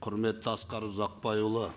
құрметті асқар ұзақбайұлы